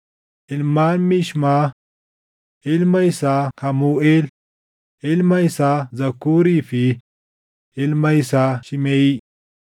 Ilmaan Mishmaa: Ilma isaa Hamuuʼeel, ilma isaa Zakuurii fi ilma isaa Shimeʼii.